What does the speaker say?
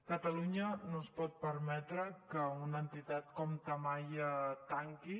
catalunya no es pot permetre que una entitat com tamaia tanqui